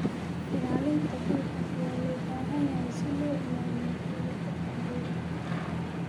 Ilaalinta dhulka ayaa loo baahan yahay si loo ilaaliyo dheelitirka deegaanka.